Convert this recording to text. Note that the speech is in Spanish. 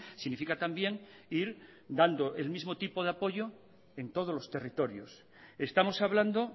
significa también ir dando el mismo tipo de apoyo en todos los territorios estamos hablando